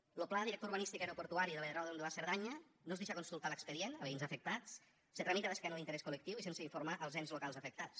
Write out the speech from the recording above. lo pla director urbanístic aeroportuari de l’aeròdrom de la cerdanya no es deixa consultar l’expedient a veïns afectats se tramita d’esquena a l’interès col·lectiu i sense informar els ens locals afectats